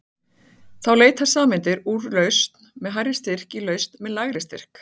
Þá leita sameindir úr lausn með hærri styrk í lausn með lægri styrk.